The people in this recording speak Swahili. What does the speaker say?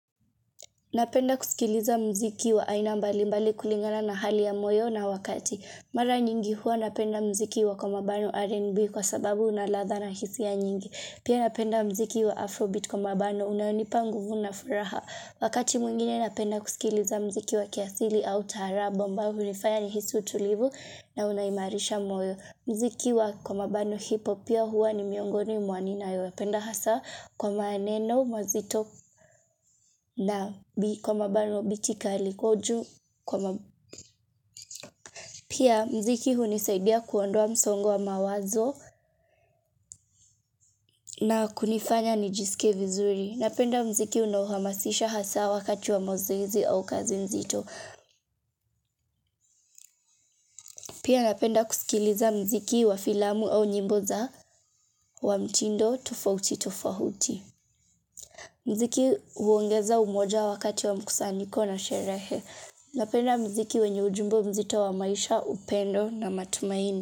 Napenda kusikiliza mziki wa aina mbali mbali kulingana na hali ya moyo na wakati. Mara nyingi hua napenda mziki wa komabano R&B kwa sababu unaladha na hisi ya nyingi. Pia napenda mziki wa Afrobeat komabano unanipa nguvu na furaha. Wakati mwingine napenda kusikiliza mziki wa kiasili au tarabu mba unifanya ni hisi utulivu na unayimarisha moyo. Mziki wa komabano hipop pia hua ni miongoni mwa ninayopenda yu. Napenda hasa kwa maaneno, mazito na kwa mabano bitikali kuju. Pia mziki hunisaidia kuondwa msongwa mawazo na kunifanya nijisike vizuri. Napenda mziki unahamasisha hasa wakati wa mozezi au kazi mzito. Pia napenda kusikiliza mziki wa filamu au nyimboza wa mtindo tufauti tufauti. Mziki huongeza umoja wakati wa mkusaniko na sherehe. Napenda mziki wenye ujumbe mzito wa maisha, upendo na matumaini.